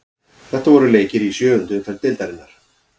Þetta voru leikir í sjöundu umferð deildarinnar.